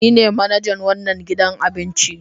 Ni ne manajan wannan gidan abinci.